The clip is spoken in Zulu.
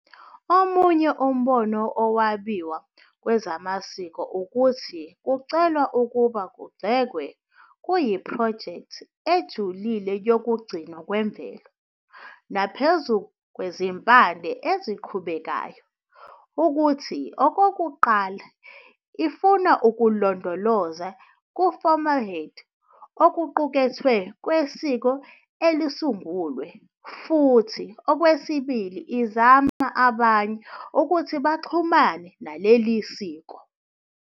Omunye umbono wokwabiwa kwezamasiko ukuthi ukucela ukuba kugxekwe "kuyiphrojekthi ejulile yokugcinwa kwemvelo", naphezu kwezimpande eziqhubekayo, ukuthi "okokuqala ifuna ukulondoloza ku-formaldehyde okuqukethwe kwesiko elisungulwe futhi okwesibili izama abanye ukuthi baxhumane nalelo. isiko".